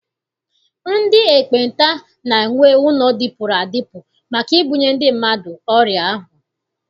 Ndị ekpenta na- enwe ụlọ dịpụrụ adịpụ maka ibunye ndị mmadụ ọrịa ahụ.